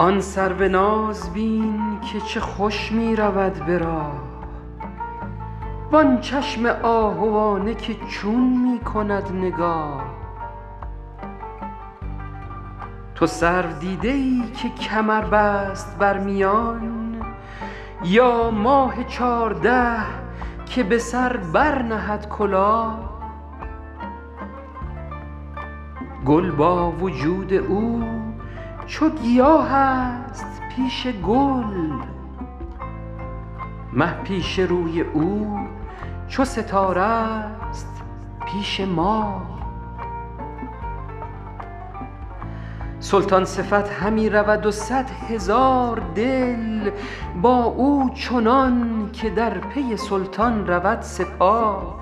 آن سرو ناز بین که چه خوش می رود به راه وآن چشم آهوانه که چون می کند نگاه تو سرو دیده ای که کمر بست بر میان یا ماه چارده که به سر برنهد کلاه گل با وجود او چو گیاه است پیش گل مه پیش روی او چو ستاره ست پیش ماه سلطان صفت همی رود و صد هزار دل با او چنان که در پی سلطان رود سپاه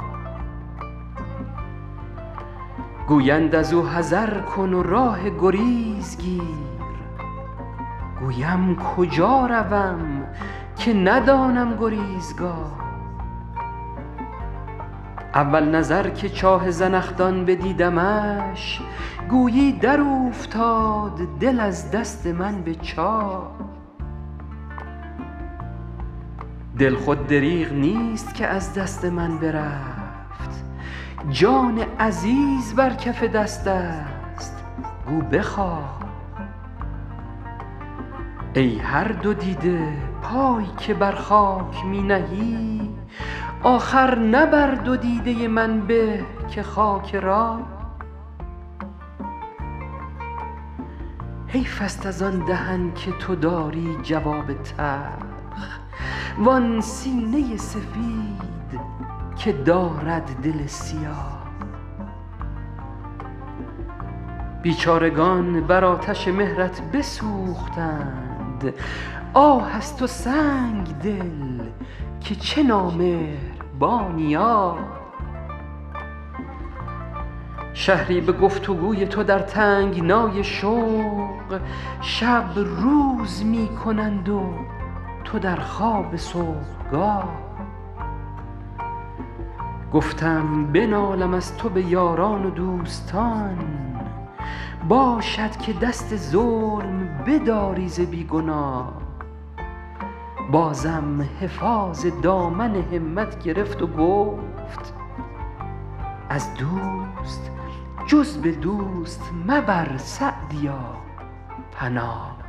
گویند از او حذر کن و راه گریز گیر گویم کجا روم که ندانم گریزگاه اول نظر که چاه زنخدان بدیدمش گویی در اوفتاد دل از دست من به چاه دل خود دریغ نیست که از دست من برفت جان عزیز بر کف دست است گو بخواه ای هر دو دیده پای که بر خاک می نهی آخر نه بر دو دیده من به که خاک راه حیف است از آن دهن که تو داری جواب تلخ وآن سینه سفید که دارد دل سیاه بیچارگان بر آتش مهرت بسوختند آه از تو سنگدل که چه نامهربانی آه شهری به گفت و گوی تو در تنگنای شوق شب روز می کنند و تو در خواب صبحگاه گفتم بنالم از تو به یاران و دوستان باشد که دست ظلم بداری ز بی گناه بازم حفاظ دامن همت گرفت و گفت از دوست جز به دوست مبر سعدیا پناه